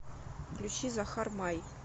включи захар май